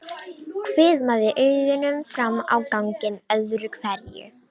Hvimaði augunum fram á ganginn öðru hverju.